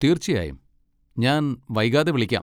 തീർച്ചയായും, ഞാൻ വൈകാതെ വിളിക്കാം.